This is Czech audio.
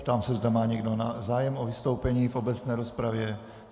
Ptám se, zda má někdo zájem o vystoupení v obecné rozpravě.